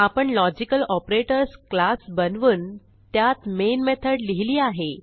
आपण logical operators class बनवून त्यात मेन मेथड लिहिली आहे